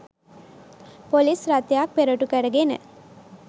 police රථයක් පෙරටු කරගෙන